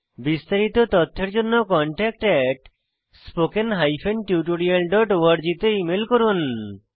বিস্তারিত তথ্যের জন্য contactspoken tutorialorg তে ইমেল করুন